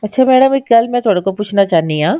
ਅੱਛਾ madam ਇੱਕ ਮੈਂ ਇਹ ਤੁਹਾਡੇ ਤੋਂ ਪੁੱਛਣਾ ਚਾਹੁੰਦੀ ਹਾਂ